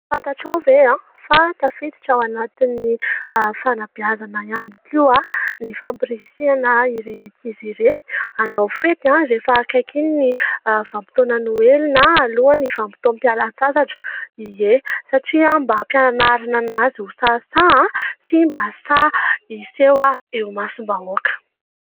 Fantatra aho ve aho fa tafiditra ao anatin'ny fanabeazana ihany koa ny famporisiana ireny ankizy ireny hanao fety an rehefa akaikin' ny vanimpotoanan'ny noely na alohan'ny vanimpitoam-pialatsasatra ie satria mba hampianarina azy ho sahisahy sy mba sahy iseho eo imasim-bahoaka